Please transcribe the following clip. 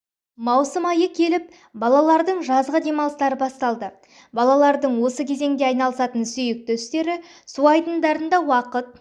маусым айы келіп балалардың жазғы демалыстары басталды балалардың осы кезеңде айналысатын сүйкті істері су айдындарында уақыт